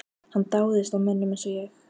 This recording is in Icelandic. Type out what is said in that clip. Hann dáðist að mönnum eins og